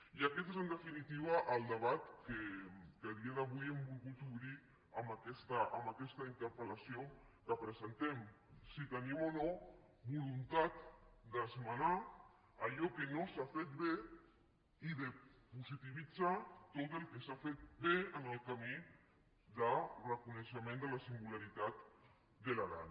i aquest és en definitiva el debat que a dia d’avui hem volgut obrir amb aquesta interpel·tenim o no voluntat d’esmenar allò que no s’ha fet bé i de positivitzar tot el que s’ha fet bé en el camí de reconeixement de la singularitat de l’aran